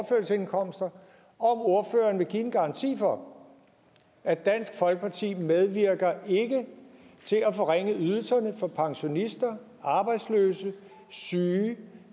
ordføreren vil give en garanti for at dansk folkeparti ikke medvirker til at forringe ydelserne for pensionister arbejdsløse syge